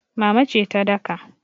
Mama ce ta daka.